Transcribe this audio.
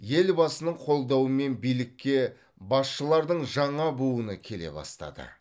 елбасының қолдауымен билікке басшылардың жаңа буыны келе бастады